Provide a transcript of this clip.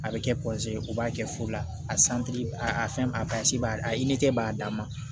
A bɛ kɛ u b'a kɛ fu la a a fɛn a b'a a b'a dan ma